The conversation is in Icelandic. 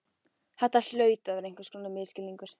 Þetta hlaut að vera einhvers konar misskilningur.